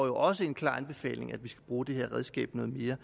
jo også en klar anbefaling om at vi skal bruge det redskab noget mere